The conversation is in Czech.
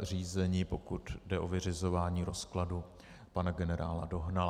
řízení, pokud jde o vyřizování rozkladu pana generála Dohnala.